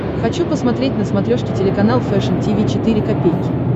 хочу посмотреть на смотрешке телеканал фэшн ти ви четыре ка